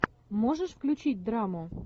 можешь включить драму